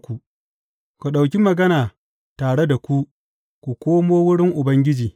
Ku ɗauki magana tare da ku ku komo wurin Ubangiji.